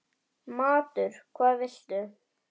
Matur: Hvað viltu?